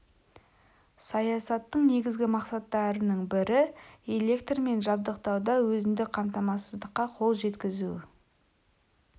саясаттың негізгі мақсаттарының бірі-электрмен жабдықтауда өзіндік қамтамасыздыққа қол жеткізу